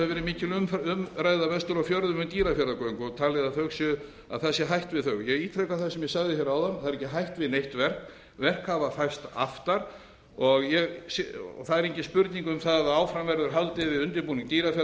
mikil umræða vestur á fjörðum um dýrafjarðargöng og talið að það sé hætt við þau ég ítreka það sem ég sagði hér áðan það er ekki hætt við neitt verk verk hafa færst aftar og það er engin spurning um það að áfram verður haldið undirbúning dýrafjarðargöng